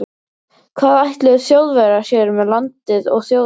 Hvað ætluðu Þjóðverjar sér með landið og þjóðina?